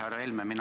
Härra Helme!